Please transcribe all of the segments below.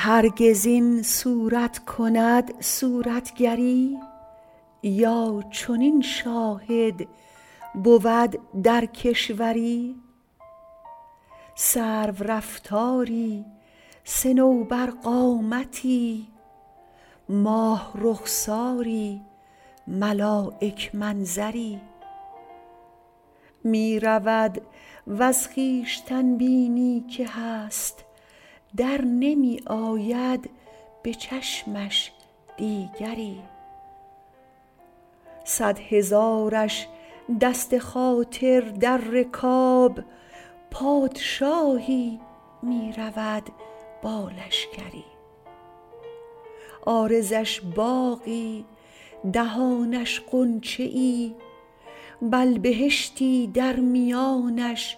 هرگز این صورت کند صورتگری یا چنین شاهد بود در کشوری سرورفتاری صنوبرقامتی ماه رخساری ملایک منظری می رود وز خویشتن بینی که هست در نمی آید به چشمش دیگری صد هزارش دست خاطر در رکاب پادشاهی می رود با لشکری عارضش باغی دهانش غنچه ای بل بهشتی در میانش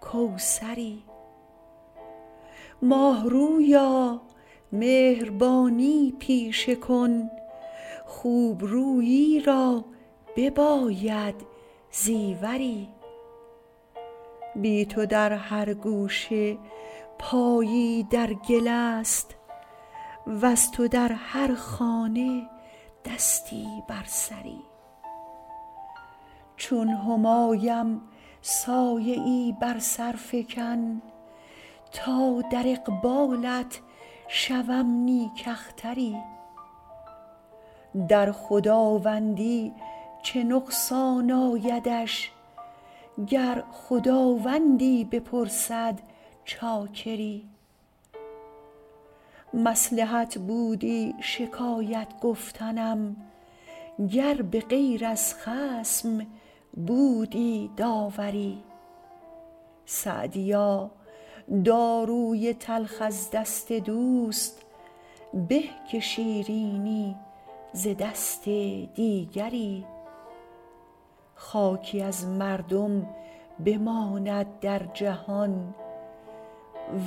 کوثری ماه رویا مهربانی پیشه کن خوب رویی را بباید زیوری بی تو در هر گوشه پایی در گل است وز تو در هر خانه دستی بر سری چون همایم سایه ای بر سر فکن تا در اقبالت شوم نیک اختری در خداوندی چه نقصان آیدش گر خداوندی بپرسد چاکری مصلحت بودی شکایت گفتنم گر به غیر از خصم بودی داوری سعدیا داروی تلخ از دست دوست به که شیرینی ز دست دیگری خاکی از مردم بماند در جهان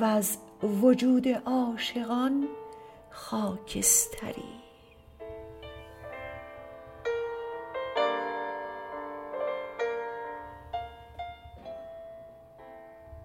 وز وجود عاشقان خاکستری